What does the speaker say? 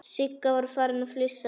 Sigga var farin að flissa.